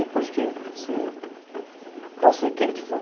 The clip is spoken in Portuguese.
É por isso que, assim, pode ser quem que for,